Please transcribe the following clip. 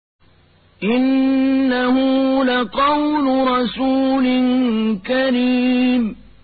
إِنَّهُ لَقَوْلُ رَسُولٍ كَرِيمٍ